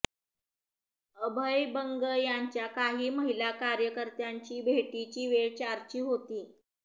अभय बंग यंाच्या काही महिला कार्यकर्त्यांची भेटीची वेळ चारची होती